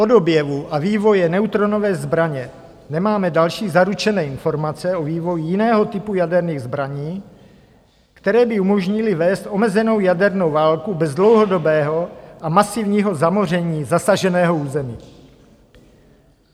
Od objevu a vývoje neutronové zbraně nemáme další zaručené informace o vývoji jiného typu jaderných zbraní, které by umožnily vést omezenou jadernou válku bez dlouhodobého a masivního zamoření zasaženého území.